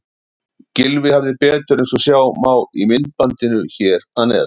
Gylfi hafði betur eins og sjá má í myndbandinu hér að neðan.